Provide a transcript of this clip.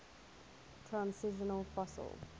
transitional fossil